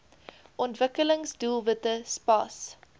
ontwikkelings doelwitte spas